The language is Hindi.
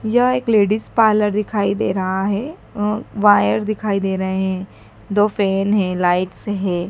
यह एक लेडिस पार्लर दिखाई दे रहा है अह वायर दिखाई दे रहे हैं दो फैन हैं लाइट्स है।